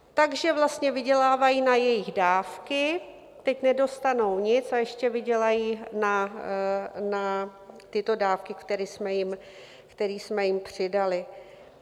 Takže vlastně vydělávají na jejich dávky, teď nedostanou nic a ještě vydělají na tyto dávky, které jsme jim přidali.